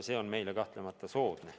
See on meile kahtlemata soodne.